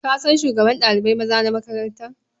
Ka san shugaban ɗalibai maza na makarantar?